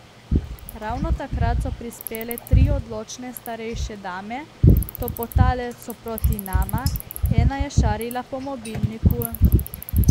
Ravno takrat so prispele tri odločne starejše dame, topotale so proti nama, ena je šarila po mobilniku.